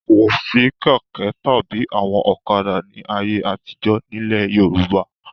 Kò sí kẹ̀kẹ́ tàbí àwọn ọ̀kadà ní ayé àtijọ́ nílẹ̀ Yorùbá.